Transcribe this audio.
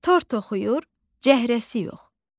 tort oxuyur cəhrəsi yox.